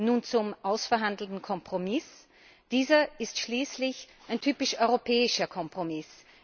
Nun zum ausverhandelten Kompromiss Dieser ist schließlich ein typisch europäischer Kompromiss.